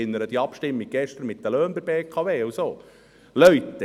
Ich erinnere an die Abstimmung von gestern zu den Löhnen der BKW und so weiter.